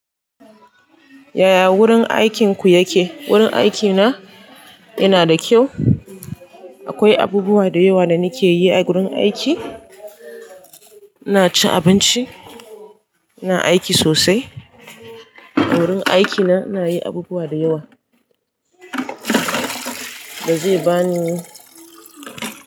Yaya wurin aikin ku yake? Wurin aikina yana da kyau. Akwai abubuwa da yawa da nike yi a gurin aiki. Ina cin abinci, ina aiki sosai. A wurin aiki na, ina yi abubuwa da yawa, da zai ba ni.